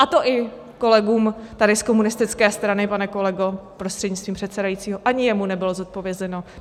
A to ani kolegům tady z komunistické strany, pane kolego prostřednictvím předsedajícího, ani jemu nebylo zodpovězeno.